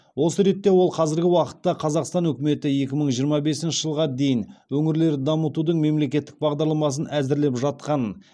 осы ретте ол қазіргі уақытта қазақстан үкіметі екі мың жиырма бесінші жылға дейін өңірлерді дамытудың мемлекеттік бағдарламасын әзірлеп жатқанын және оған мәслихат депутаттары мен жергілікті өзін өзі басқару органдары араласуы тиістігін баса айтты